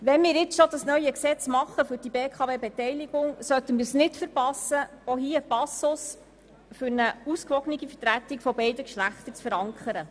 Wenn wir nun dieses neue Gesetz für die BKW-Beteiligung machen, sollten wir es nicht versäumen, auch in diesem einen Passus für eine ausgewogene Vertretung beider Geschlechter zu verankern.